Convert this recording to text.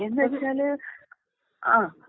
എന്ന് വെച്ചാല്. ആഹ്.